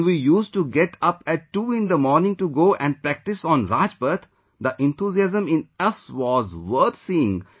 When We used to get up at 2 in the morning to go and practice on Rajpath, the enthusiasm in us was worth seeing